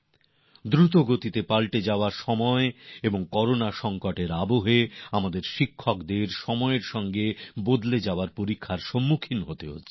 দ্রুত পরিবর্তনশীল সময় আর করোনার সঙ্কটকালে আমাদের শিক্ষকদের সামনেও সময়ের সঙ্গে পরিবর্তনের একটি চ্যালেঞ্জ এসেছে